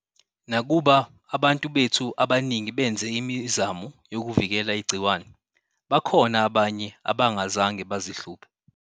Nakuba abantu bethu abaningi benze imizamo yokuvikela igciwane, bakhona abanye abangazange bazihluphe.